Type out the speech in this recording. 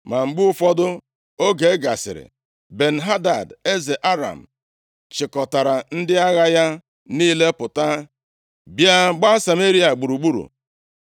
Ma mgbe ụfọdụ oge gasịrị, Ben-Hadad, eze Aram, chịkọtara ndị agha ya niile pụta bịa gbaa Sameria gburugburu.